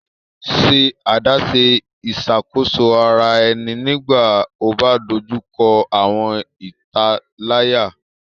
Ṣe adaṣe iṣakoso ara ẹni nigbati o ba dojuko awọn italaya